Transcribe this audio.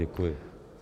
Děkuji.